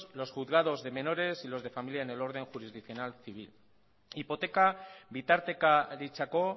los juzgados de menores y los de familia en el orden jurisdiccional civil hipoteka bitartekaritzako